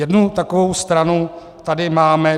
Jednu takovou stranu tady máme.